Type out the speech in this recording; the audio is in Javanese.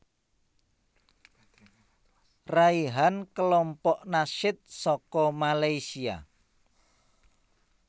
Raihan Kelompok Nasyid saka Malaysia